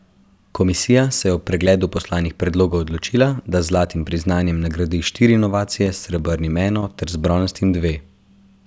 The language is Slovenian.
Komisija se je ob pregledu poslanih predlogov odločila, da z zlatim priznanjem nagradi štiri inovacije, s srebrnim eno ter z bronastim dve.